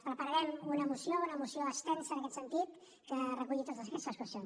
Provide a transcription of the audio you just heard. prepararem una moció una moció extensa en aquest sentit que reculli totes aquestes qüestions